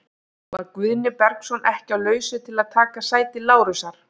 Var Guðni Bergsson ekki á lausu til að taka sæti Lárusar?